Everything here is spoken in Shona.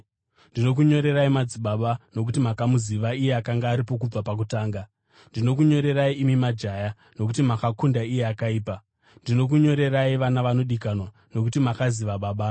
Ndinokunyorerai, madzibaba, nokuti makamuziva iye akanga aripo kubva pakutanga. Ndinokunyorerai, imi majaya, nokuti makakunda iye akaipa. Ndinokunyorerai, vana vanodikanwa, nokuti makaziva Baba.